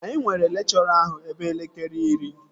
Anyị nwere lekchọra ahụ ebe elekere iri